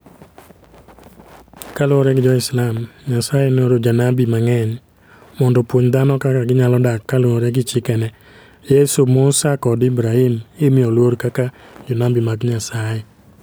Kaluwore gi Jo-Islam, Nyasaye nooro jonabi mang'eny mondo opuonj dhano kaka ginyalo dak kaluwore gi chikene. Yesu, Musa, kod Ibrahim imiyo luor kaka jonabi mag Nyasaye